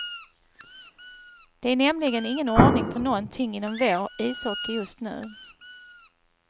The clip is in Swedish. Det är nämligen ingen ordning på nånting inom vår ishockey just nu.